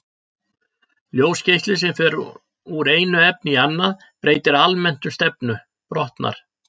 Ljósgeisli sem fer úr einu efni í annað breytir almennt um stefnu, brotnar.